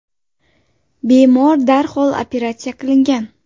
Bemor darhol operatsiya qilingan.